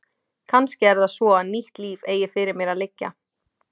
Kannski er það svo að nýtt líf eigi fyrir mér að liggja.